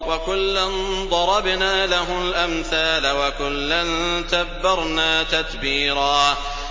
وَكُلًّا ضَرَبْنَا لَهُ الْأَمْثَالَ ۖ وَكُلًّا تَبَّرْنَا تَتْبِيرًا